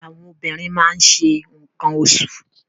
Àwọn obìnrin máa ń ṣe nǹkan oṣù.